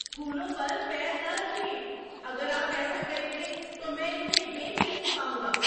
پھولوں پر پیر نہ رکھیں! اگر آپ ایسا کریں گے تو میں انہیں بیچ نہیں پاؤں گا!